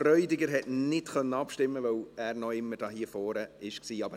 Freudiger konnte nicht abstimmen, weil er immer noch hier vorne eingetragen war.